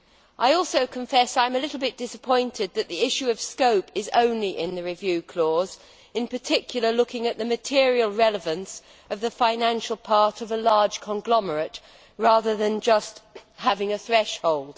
I also confess that I am a little disappointed that the issue of scope is only in the review clause, in particular looking at the material relevance of the financial part of a large conglomerate rather than just having a threshold.